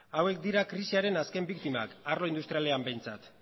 hauek dira krisiaren azken biktimak arlo industrialean behintzat